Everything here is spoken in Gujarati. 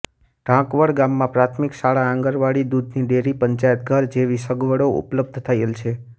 ઢાંકવળ ગામમાં પ્રાથમિક શાળા આંગણવાડી દૂધની ડેરી પંચાયતઘર જેવી સગવડો ઉપલબ્ધ થયેલ છે